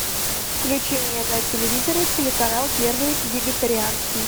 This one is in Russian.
включи мне на телевизоре телеканал первый вегетарианский